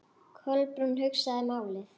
Kolbrún hugsaði málið.